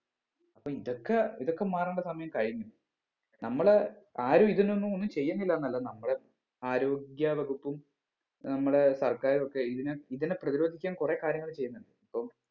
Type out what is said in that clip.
അപ്പൊ ഇതൊക്ക ഇതൊക്കെ മാറേണ്ട സമയം കഴിഞ്ഞു നമ്മള് ആരും ഇതിനൊന്നും ഒന്നും ചെയ്യുന്നില്ല എന്നല്ല നമ്മളെ ആരോഗ്യ വകുപ്പും ഏർ നമ്മുടെ സർക്കാറൊക്കെ ഇതിനെ ഇതിനെ പ്രതിരോധിക്കാൻ ഒരുപാട് കാര്യങ്ങൾ ചെയ്യുന്ന് ഇപ്പം